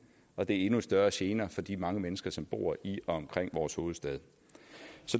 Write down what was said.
og det er endnu større gener for de mange mennesker som bor i og omkring vores hovedstad